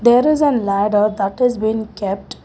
There is a ladder that has been kept.